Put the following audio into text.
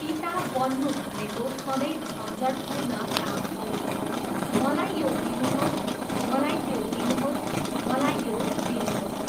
पिता बन्नु भनेको सधैँ झन्झटपूर्ण काम हो, मलाई यो दिनुहोस्, मलाई त्यो दिनुहोस्, मलाई यो दिनुहोस्!